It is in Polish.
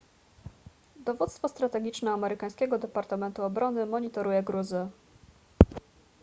dowództwo strategiczne amerykańskiego departamentu obrony monitoruje gruzy